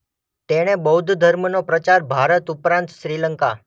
તેણે બૌદ્ધ ધર્મનો પ્રચાર ભારત ઉપરાંત શ્રીલંકા